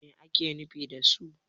me ake nufi da su?